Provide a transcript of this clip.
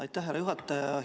Aitäh, härra juhataja!